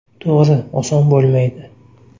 To‘g‘ri, oson bo‘lmaydi.